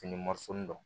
Fini dɔn